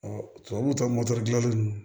tubabuw ta dilannen